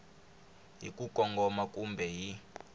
hi ku kongoma kumbe hi